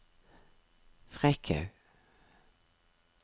Frekhaug